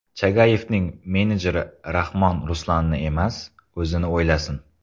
Chagayevning menejeri: Rahmon Ruslanni emas, o‘zini o‘ylasin.